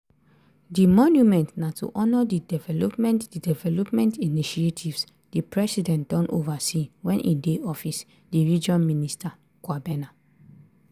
di monument na to honour di development di development initiatives di president don oversee wen e dey office di region minister kwabena